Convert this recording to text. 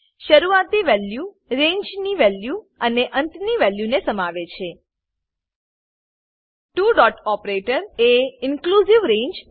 શરુઆતી વેલ્યુરેંજની વેલ્યુઅને અંતની વેલ્યુ ને સમાવે છે ત્વો ડોટ ઓપરેટર એ ઇન્ક્લુઝિવ રંગે